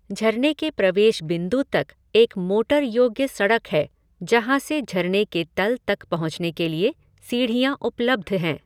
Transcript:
झरने के प्रवेश बिन्दु तक एक मोटर योग्य सड़क है, जहाँ से झरने के तल तक पहुँचने के लिए सीढ़ियाँ उपलब्ध हैं।